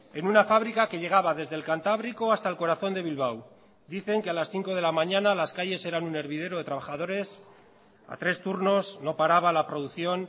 en una fábrica que llegaba desde el cantábrico hasta el corazón de bilbao dicen que a las cinco de la mañana las calles eran un hervidero de trabajadores a tres turnos no paraba la producción